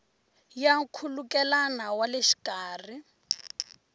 ya nkhulukelano wa le xikarhi